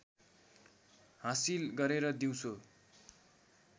हाँसिल गरेर दिउँसो